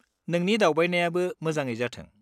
-नोंनि दावबायनायाबो मोजाङै जाथों।